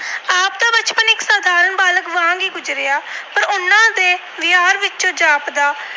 ਵਿੱਚੋਂ ਗੁਜਰਿਆ ਪਰ ਉਹਨਾਂ ਦੇ ਵਿਹਾਰ ਵਿੱਚੋਂ ਜਾਪਦਾ